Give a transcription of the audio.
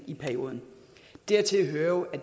i perioden dertil hører jo at